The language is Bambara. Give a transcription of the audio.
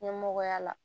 Ɲɛmɔgɔya la